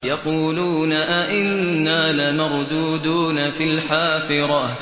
يَقُولُونَ أَإِنَّا لَمَرْدُودُونَ فِي الْحَافِرَةِ